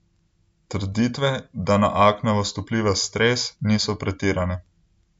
Trditve, da na aknavost vpliva stres, niso pretirane.